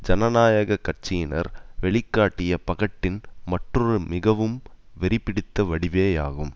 ஜனநாயக கட்சியினர் வெளி காட்டிய பகட்டின் மற்றொரு மிகவும் வெறிபிடித்த வடிவேயாகும்